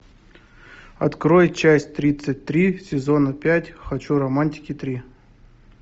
открой часть тридцать три сезона пять хочу романтики три